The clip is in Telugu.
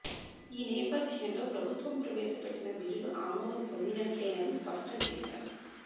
ఈ నేపథ్యంలో ప్రభుత్వం ప్రవేశపెట్టిన బిల్లులు ఆమోదం పొందినట్లేనని స్పష్టం చేశారు